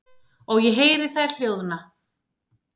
Og ég heyri þær hljóðna.